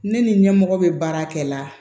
Ne ni ɲɛmɔgɔ be baarakɛla